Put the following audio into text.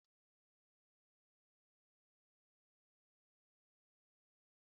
Nna olamide na èji mmanụ nri esi nri